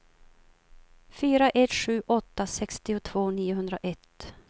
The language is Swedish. fyra ett sju åtta sextiotvå niohundraett